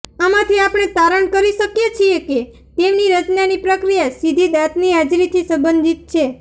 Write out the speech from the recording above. આમાંથી આપણે તારણ કરી શકીએ છીએ કે તેમની રચનાની પ્રક્રિયા સીધી દાંતની હાજરીથી સંબંધિત છે